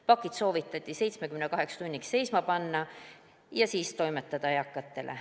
Pakid soovitati lihtsalt 78 tunniks seisma panna ja siis eakatele toimetada.